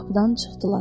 Qapıdan çıxdılar.